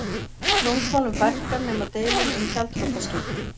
Dómsmálum fækkar nema deilum um gjaldþrotaskipti